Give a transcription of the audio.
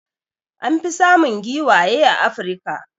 An fi samun giwaye a Africa.